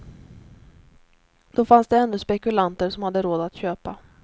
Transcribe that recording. Då fanns det ännu spekulanter som hade råd att köpa.